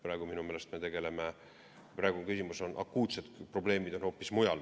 Praegu minu meelest on akuutsed probleemid hoopis mujal.